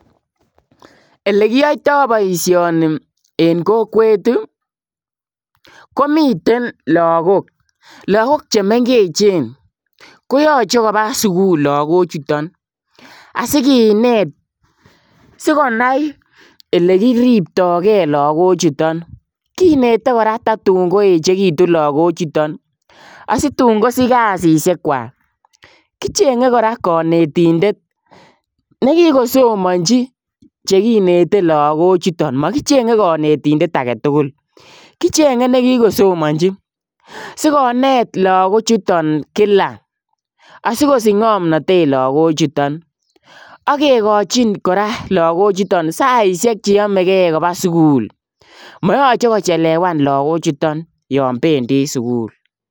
Ele kiyaitaa boisioni en kokwet ii komiteen lagook lagook che mengecheen koyachei kobaa sugul lagook chutoon asigineet sikonai ole kiriptai gei lagoook chutoon, kinetee koraa tatuun koechekituun lagook chutoon asituun kosich kasisiek kwaak kichengee kora kanetindet nekikosomanjii chekinetee lagook chutoon makichengei kanetindet agei tuguul kichengee nekikosomanjii sikoneet lagook chotoon kila asikosiich ngonamnatet lagook chutoon agikochiin lagook chutoon saisiek che yame gei kobaa sugul mayachei kochelewaan lagook chutoon yaan bendi sugul.